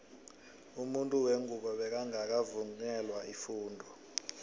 umuntu wengubo bekangaka vungelwa ifundo